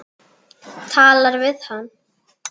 Talar við hann.